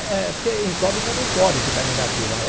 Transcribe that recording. É porque incógnita não pode ficar negativa é.